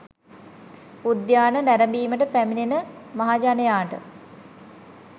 උද්‍යානය නැරඹීමට පැමිණෙන මහජනයාට